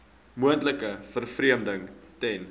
moontlike vervreemding ten